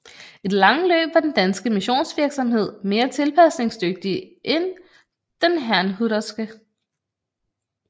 I det lange løb var den danske missionsvirksomhed mere tilpasningsdygtig end den herrnhuterske